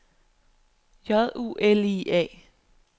J U L I A